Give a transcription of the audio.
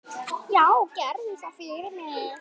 Já, gerðu það fyrir mig!